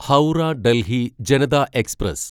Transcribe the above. Howrah Delhi Janata express